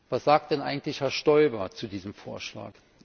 Was sagt denn eigentlich Herr Stoiber zu diesem Vorschlag?